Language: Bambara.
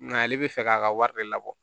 Nka ale bɛ fɛ k'a ka wari de labɔ